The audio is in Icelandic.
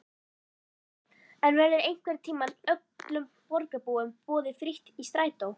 En verður einhvern tímann öllum borgarbúum boðið frítt í strætó?